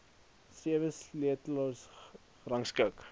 sewe sleutelareas gerangskik